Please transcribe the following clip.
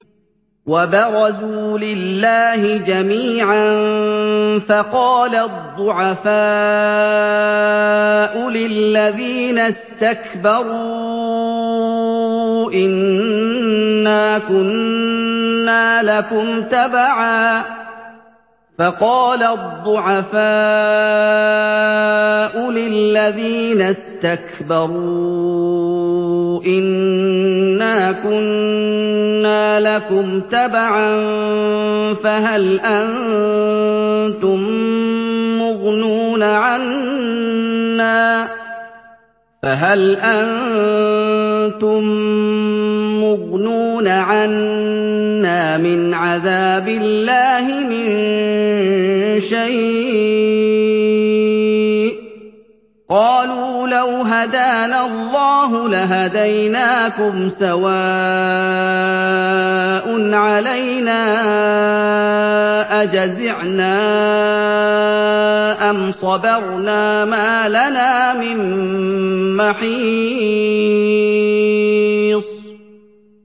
وَبَرَزُوا لِلَّهِ جَمِيعًا فَقَالَ الضُّعَفَاءُ لِلَّذِينَ اسْتَكْبَرُوا إِنَّا كُنَّا لَكُمْ تَبَعًا فَهَلْ أَنتُم مُّغْنُونَ عَنَّا مِنْ عَذَابِ اللَّهِ مِن شَيْءٍ ۚ قَالُوا لَوْ هَدَانَا اللَّهُ لَهَدَيْنَاكُمْ ۖ سَوَاءٌ عَلَيْنَا أَجَزِعْنَا أَمْ صَبَرْنَا مَا لَنَا مِن مَّحِيصٍ